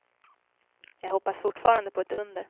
Jag hoppas fortfarande på ett under.